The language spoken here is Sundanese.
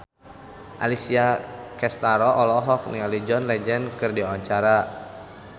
Alessia Cestaro olohok ningali John Legend keur diwawancara